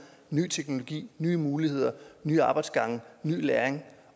ny teknologi nye muligheder nye arbejdsgange ny læring